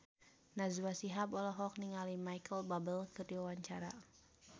Najwa Shihab olohok ningali Micheal Bubble keur diwawancara